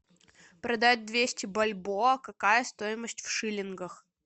продать двести бальбоа какая стоимость в шиллингах